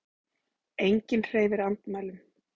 Enginn hreyfir andmælum.